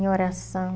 Em oração.